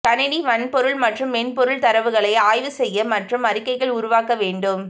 கணினி வன்பொருள் மற்றும் மென்பொருள் தரவுகளை ஆய்வு செய்ய மற்றும் அறிக்கைகள் உருவாக்க வேண்டும்